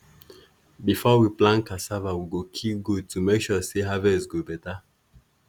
before we plant cassava we go kill goat to make sure say harvest go better.